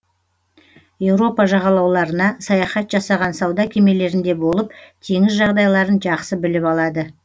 еуропа жағалауларына саяхат жасаған сауда кемелерінде болып теңіз жағдайларын жақсы біліп алады